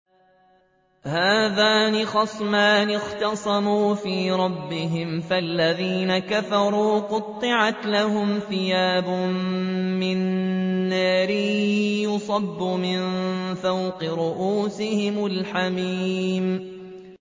۞ هَٰذَانِ خَصْمَانِ اخْتَصَمُوا فِي رَبِّهِمْ ۖ فَالَّذِينَ كَفَرُوا قُطِّعَتْ لَهُمْ ثِيَابٌ مِّن نَّارٍ يُصَبُّ مِن فَوْقِ رُءُوسِهِمُ الْحَمِيمُ